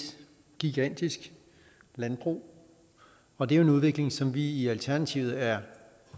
gigantisk landbrug og det er en udvikling som vi i alternativet er